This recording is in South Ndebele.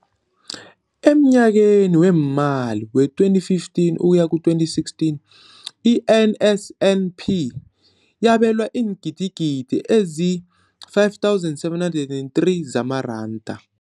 Emnyakeni weemali we-2015 ukuya ku-2016, i-NSNP yabelwa iingidigidi ezi-5 703 zamaranda.